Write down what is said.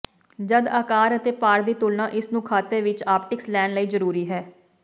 ਜਦ ਆਕਾਰ ਅਤੇ ਭਾਰ ਦੀ ਤੁਲਨਾ ਇਸ ਨੂੰ ਖਾਤੇ ਵਿੱਚ ਆਪਟਿਕਸ ਲੈਣ ਲਈ ਜ਼ਰੂਰੀ ਹੈ